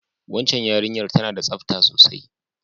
Wacan yarinyar ta na da tsafta sosai